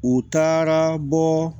U taara bɔ